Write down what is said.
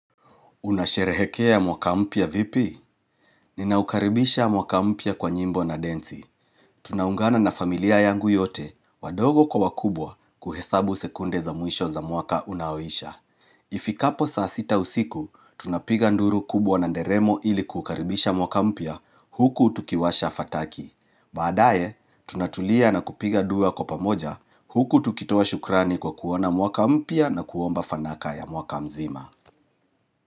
Unasherehekea mwaka mpya vipi? Ninaukaribisha mwaka mpya kwa nyimbo na densi. Tunaungana na familia yangu yote wadogo kwa wakubwa kuhesabu sekunde za mwisho za mwaka unaoisha. Ifikapo saa sita usiku, tunapiga nduru kubwa na nderemo ili kukaribisha mwaka mpya huku tukiwasha fataki. Baadaye, tunatulia na kupiga dua kwa pamoja huku tukitoa shukrani kwa kuona mwaka mpya na kuomba fanaka ya mwaka mzima.